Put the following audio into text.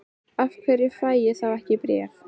Af hverju fæ ég þá ekki bréf?